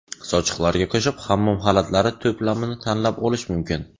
Sochiqlarga qo‘shib hammom xalatlari to‘plamini tanlab olish mumkin.